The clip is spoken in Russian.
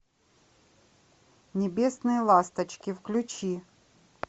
небесные ласточки включи